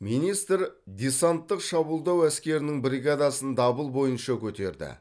министр десанттық шабуылдау әскерінің бригадасын дабыл бойынша көтерді